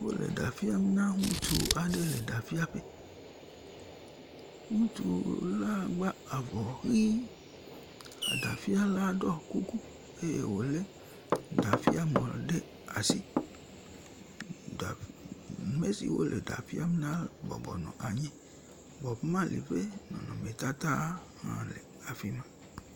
Wole ɖa fiam na ŋutsu aɖe le ɖafiaƒe, ŋutsu la gba avɔ ʋi, eɖafiala ɖɔ kuku eye wòlé ɖafiamɔ ɖe asi. Ame si wole ɖa fiam na bɔbɔnɔ anyi, Bob Marley ƒe nɔnɔmetata hã le afi ma.